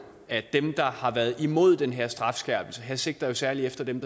at dem der har været imod den her strafskærpelse og her sigter jeg særlig efter dem